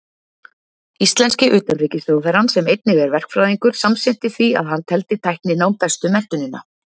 Íslenski utanríkisráðherrann, sem einnig er verkfræðingur, samsinnti því að hann teldi tækninám bestu menntunina.